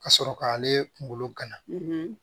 Ka sɔrɔ k'ale kunkolo gana